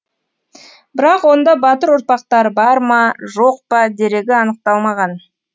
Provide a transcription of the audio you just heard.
бірақ онда батыр ұрпақтары бар ма жоқ па дерегі анықталмаған